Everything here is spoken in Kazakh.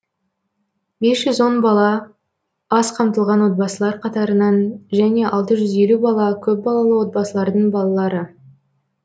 бес жүз он бала аз қамтылған отбасылар қатарынан және алты жүз елу бала көпбалалы отбасылардың балалары